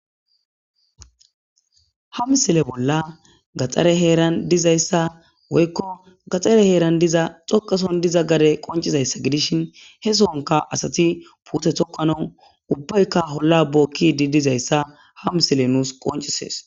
hamsile bolla gaxxare heeran dizayssa woykko gaxare heeran diza xoqason diza gare qoncizayssa gidishin he soonka asati puuthe toqano ubbaykka holla bokkidi dizayssa hamsile nuus qoncisees